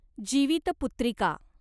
Jivitputrika